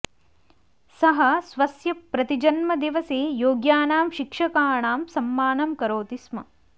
सः स्वस्य प्रतिजन्मदिवसे योग्यानां शिक्षकाणां सम्मानं करोति स्म